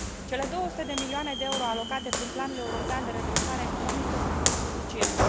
Cele 200 de milioane de euro alocate în prim planul european de redresare economică sunt insuficiente.